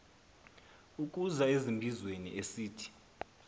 ukuza ezimbizweni esithi